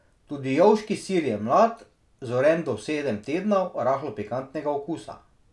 Tudi jovški sir je mlad, zoren do sedem tednov, rahlo pikantnega okusa.